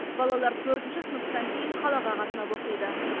балалар төртінші сыныптан кейін қалаға қатынап оқиды